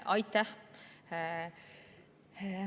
Aitäh!